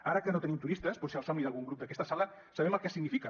ara que no tenim turistes potser el somni d’algun grup d’aquesta sala sabem el que significa